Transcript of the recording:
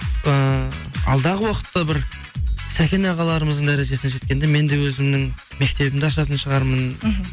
ыыы алдағы уақытта бір сәкен ағаларымыздың дәрежесіне жеткенде мен де өзімнің мектебімді ашатын шығармын мхм